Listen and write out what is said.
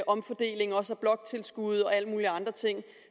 omfordelingen også af bloktilskud og alle mulige andre ting